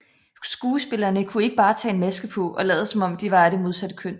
Skuespillerne kunne ikke bare tage en maske på og lade som om de var af det modsatte køn